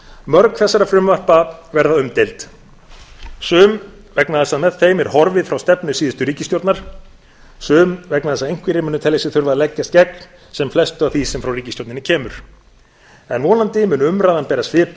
mörg þessara frumvarpa verða umdeild sum vegna þess að með þeim er horfið frá stefnu síðustu ríkisstjórnar sum vegna þess að einhverjir munu telja sig þurfa að leggjast gegn sem flestu af því sem frá ríkisstjórninni kemur vonandi mun þó umræðan bera svip